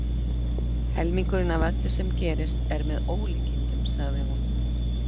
Helmingurinn af öllu sem gerist er með ólíkindum, sagði hún.